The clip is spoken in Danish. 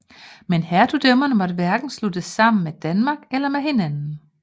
Men hertugdømmerne måtte hverken sluttes sammen med Danmark eller med hinanden